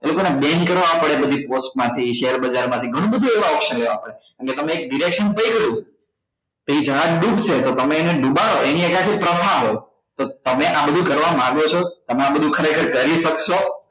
એ લોકો ને bank કરવા પડે આ બધી post માંથી share બજાર માંથી ગણું બધું એવા option હોય આપડા કેમ કે તમે એક થઇ ગયું કે એ જહાજ ડૂબશે તો તમે એને ડૂબાડો એની ત્યાંથી પ્રથા હો તો તમે આ બધું કરવા માંગો છો તમે આ બધું ખરેખર કરી શકશો